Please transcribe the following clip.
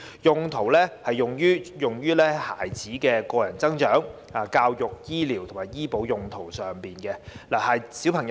基金可用於孩子的個人增值、教育、醫療及醫保用途上。